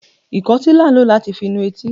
ikòtí la n lò latí fi nú etí